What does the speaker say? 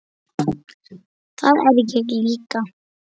Það er ég líka